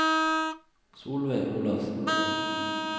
Solveig Olafsen